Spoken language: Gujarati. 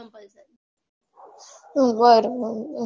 બરોબર